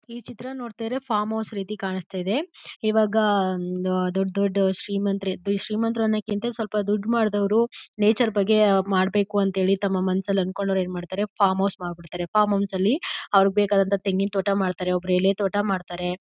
ಈ ಚಿತ್ರ ನೋಡ್ತಾ ಇದ್ರೆ ಫಾರ್ಮ್ ಹೌಸ್ ರೀತಿ ಕಾಣಿಸ್ತಾ ಇದೆ ಇವಾಗ ದೊಡ್ಡ ದೊಡ್ಡ ಶ್ರೀಮಂತರು ಶ್ರೀಮಂತರು ಅನ್ನೋದಕ್ಕಿಂತ ಸ್ವಲ್ಪ ದುಡ್ಡು ಮಾಡಿದವರು ನೇಚರ್ ಬಗ್ಗೆ ಮಾಡಬೇಕು ಅಂತ ಹೇಳಿ ತಮ್ಮ ಮನಸ್ಸಲ್ಲಿ ಅನ್ಕೊಂಡೊರು ಏನ್ ಮಾಡ್ತಾರೆ ಫಾರ್ಮ್ ಹೌಸ್ ಮಾಡಿಬಿಡ್ತಾರೆ ಫಾರ್ಮ್ ಹೌಸ್ ಅಲ್ಲಿ ಅವರಿಗೆ ಬೇಕಾದಂತಹ ತೆಂಗಿನ ತೋಟ ಮಾಡ್ತಾರೆ ಒಬ್ಬೊಬ್ಬರು ಎಲೆ ತೋಟ ಮಾಡ್ತಾರೆ.